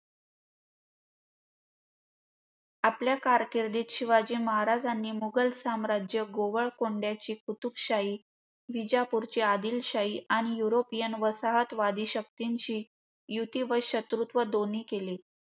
आपल्या कारकिर्दीत शिवाजी महाराजांनी मुघल साम्राज गोवळ कोंड्याची कुतुबशाही, विजापुरची आदिलशाहीआणि युरोपियन वसाहतवादी शक्तींशी युती व शत्रुत्व दोन्ही केले.